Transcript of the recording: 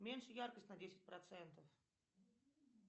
меньше яркость на десять процентов